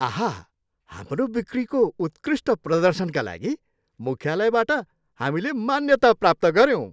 आहा! हाम्रो बिक्रीको उत्कृष्ट प्रदर्शनका लागि मुख्यालयबाट हामीले मान्यता प्राप्त गऱ्यौँ।